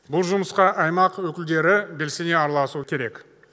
бұл жұмысқа аймақ өкілдері белсене араласуы керек